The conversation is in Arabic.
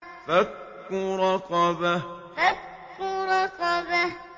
فَكُّ رَقَبَةٍ فَكُّ رَقَبَةٍ